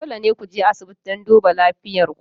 Dole ne ku je asibiti don duba lafiyar ku.